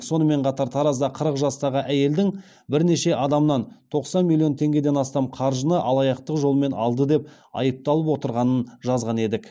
сонымен қатар таразда қырық жастағы әйелдің бірнеше адамнан тоқсан миллион теңгеден астам қаржыны алаяқтық жолмен алды деп айыпталып отырғанын жазған едік